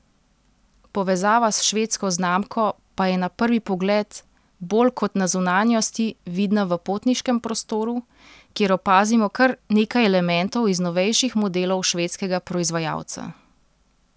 Povezava s švedsko znamko pa je na prvi pogled bolj kot na zunanjosti vidna v potniškem prostoru, kjer opazimo kar nekaj elementov iz novejših modelov švedskega proizvajalca.